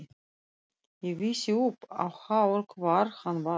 Ég vissi upp á hár hvar hann var.